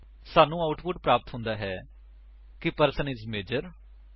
ਸਾਨੂੰ ਆਉਟਪੁਟ ਪ੍ਰਾਪਤ ਹੁੰਦਾ ਹੈ ਕਿ ਪਰਸਨ ਇਜ ਮੇਜਰ